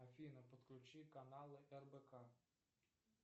афина подключи каналы рбк